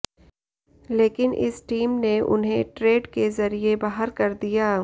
लेकिन इस टीम ने उन्हें ट्रेड के जरिए बाहर कर दिया